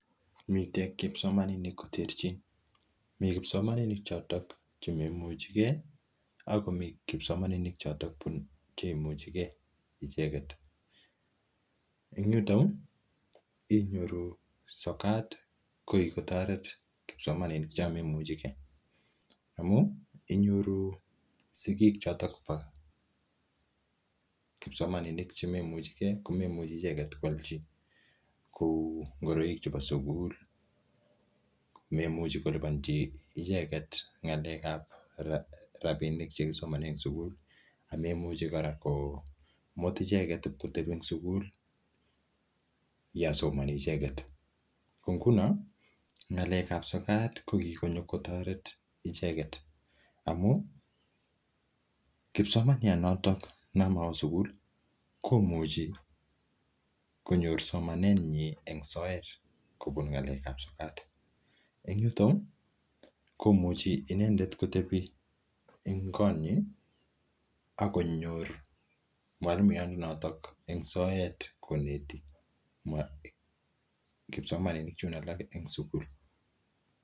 Miten kipsomaninik koterchin, mi kipsomaninik choto chemaimuchige ak komi kipsomaninik choto chemaimuchige icheget. En yuto inyoru sokat kogikotoret kipsomaninik chon maimuchige amun inyoru sigik choto bo kipsomaninik chemaimuchige komaimuchi ichget koalchi kou ngoroik chebo sugul. Maimuchi kolipan icheget ng'alekab rabinik che kisomanen sugul. Ago maimuchi kora komut ichegtee ib koteb sugul yon somani icheget. Ko nguno ng'alekab sokat kogikonyo kotoret ichget amun, kipsomaniat noto nemowo sugul komuchi konyor smanenyin en soet kobun ng'alekab sokat. En yuto komuchi inendet kotebi en konyi ak konyor mwalimuyanoto en soet koneti kipsomaninik chun alak en sugul.